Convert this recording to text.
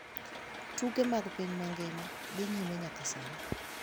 Tuke mag piny mangima dhi nyime nyaka sani